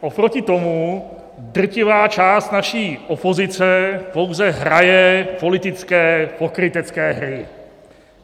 Oproti tomu drtivá část naší opozice pouze hraje politické pokrytecké hry.